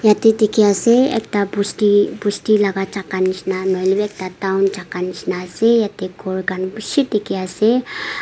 yete dikhi ase ekta bosti bosti laga jaga nishena nahoile b ekta town jaga nishena ase yete ghor khan bishi dikhi ase.